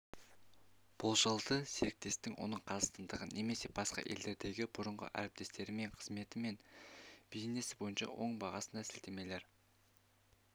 болжалды серіктестің оның қазақстандағы немесе басқа елдердегі бұрынғы әріптестерінен қызметі мен бизнесі бойынша оң бағасына сілтемелер